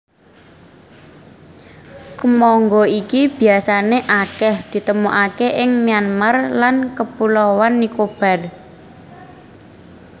Kemangga iki biasané akèh ditemokaké ing Myanmar lan Kapulauan Nicobar